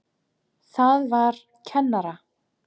Það var kennara